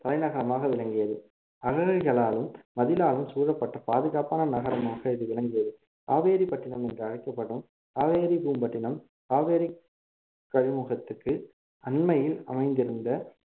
தலைநகரமாக விளங்கியது அகழிகளாலும் மதிலாலும் சூழப்பட்ட பாதுகாப்பான நகரமாக இது விளங்கியது காவேரிப்பட்டினம் என்று அழைக்கப்படும் காவேரி பூம்பட்டினம் காவேரி கழிமுகத்துக்கு அண்மையில் அமைந்திருந்த